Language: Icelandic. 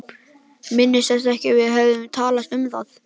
Minntist þess ekki að við hefðum talað um það.